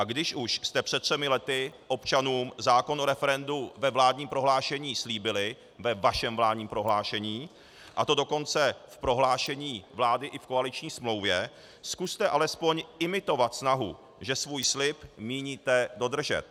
A když už jste před třemi lety občanům zákon o referendu ve vládním prohlášení slíbili - ve vašem vládním prohlášení -, a to dokonce v prohlášení vlády i v koaliční smlouvě, zkuste alespoň imitovat snahu, že svůj slib míníte dodržet.